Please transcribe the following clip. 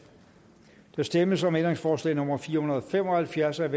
der stemmes om ændringsforslag nummer fire hundrede og fem og halvfjerds af